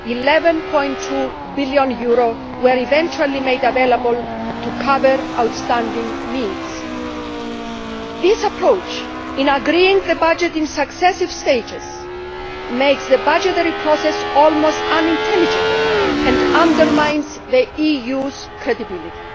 11.2 billion was eventually made available to cover outstanding needs. This approach in agreeing the budget in successive stages makes the budgetary process almost unintelligible and undermines the EU's credibility.